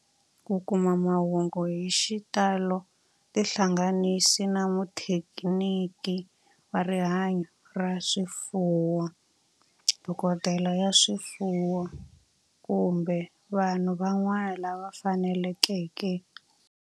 Ku kuma mahungu hi xitalo tihlanganisi na muthekiniki wa rihanyo ra swifuwo, dokodela ya swifuwo, kumbe vanhu van'wana lava fanelekeke